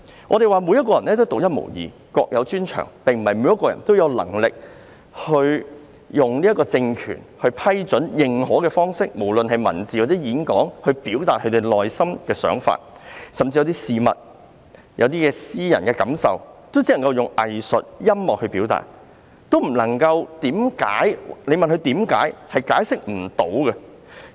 我們說，每個人都是獨一無二，各有專長，並非每一個人也有能力以政權批准或認可的方式，不論是文字或演講也好，來表達個人的內心想法；甚至是對一些事物的感覺或私人感受，也只能以藝術或音樂來表達，如果問他們為何這樣表達，可能亦解釋不到。